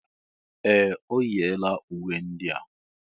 Ee! O yiela uwe ndị a.